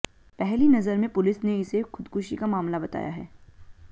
पहली नजर में पुलिस ने इसे खुदकुशी का मामला बताया है